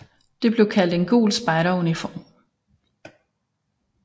Det blev kaldt en gul spejderuniform